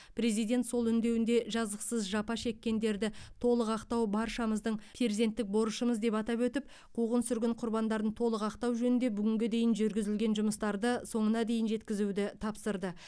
президент сол үндеуінде жазықсыз жапа шеккендерді толық ақтау баршамыздың перзенттік борышымыз деп атап өтіп қуғын сүргін құрбандарын толық ақтау жөнінде бүгінге дейін жүргізілген жұмыстарды соңына дейін жеткізуді тапсырды